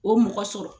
O mɔgɔ sɔrɔ